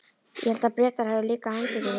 Ég hélt að Bretar hefðu líka handtekið þig?